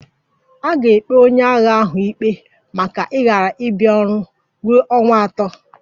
A ga-ekpe onye agha ahụ ikpe maka ịghara ịbia ọrụ ruo ọnwa atọ